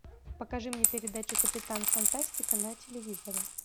покажи мне передачу капитан фантастика на телевизоре